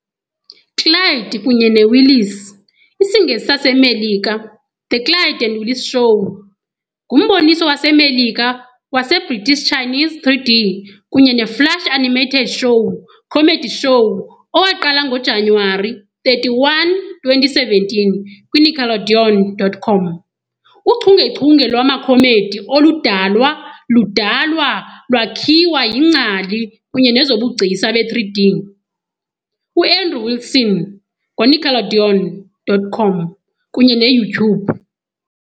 Clyde kunye Willis, IsiNgesi sasemerika - The Clyde and Willis Show, ngumboniso waseMerika waseBritish Chinese 3D kunye ne-Flash animated show comedy show owaqala ngoJanuwari 31, 2017 kwiNickelodeon.com. Uchungechunge lwama comedy oludalwa ludalwa lwakhiwa yiNgcali kunye nezobugcisa be-3D, u-Andrew Wilson ngoNickelodeon.com kunye ne-YouTube.